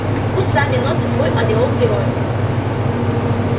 пусть сами носят свой ореол героев